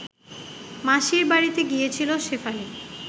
মাসির বাড়িতে গিয়েছিল শেফালি